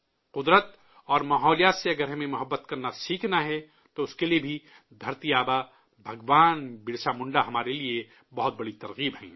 قدرت اور ماحولیات سے اگر ہمیں محبت کرنا سیکھنا ہے، تو اس کے لیے بھی دھرتی آبا بھگوان برسا منڈا ہمارے لیے بڑے حوصلہ کا باعث ہیں